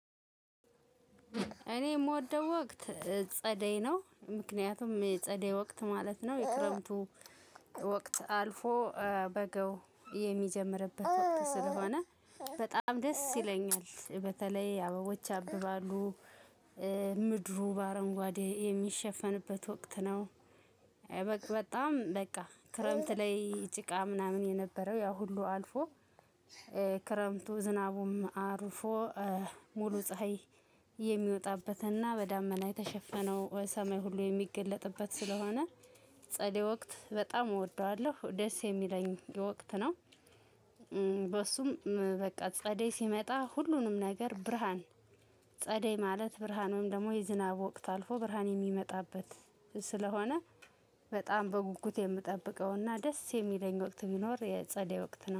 እኔ የምወደው ወቅት ጸደይ ነው ምክንያቱም ጸደይ ወቅት ማለት ነው የክረምቱ ወቅት አልፎ በጋው የሚጀምርበት ወቅት ስለሆነ በጣም ደስ ይለኛል በተለይ አበቦች ያብባሉ ምድሩ በአረንጓዴ የሚሸፈንበት ወቅት ነው። በቃ በጣም በቃ ክረምት ላይ ጭቃ ምናምን የነበረው ያ ሁሉ አልፎ ክረምቱ ዝናቡም አርፎ ሙሉ ፀሀይ የሚወጣበትና በዳመና የተሸፈነው ሰማይ ሁሉ የሚገለጥበት ስለሆነ። ጸደይ ወቅት በጣም እወደዋለሁ ደስ የሚለኝ ወቅት ነው። በሱም በቃ ጸደይ ሲመጣ ሁሉንም ነገር ብርሃን ጸደይ ማለት ብርሃን ወይም ደግሞ የዝናብ ወቅት አልፎ ብርሃን የሚመጣበት ስለሆነ በጣም በጉጉት የምጠብቀውና ደስ የሚለኝ ወቅት ቢኖር የጸደይ ወቅት ነው